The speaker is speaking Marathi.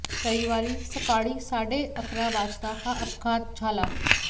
रविवारी सकाळी साडे अकरा वाजता हा अपघात झाला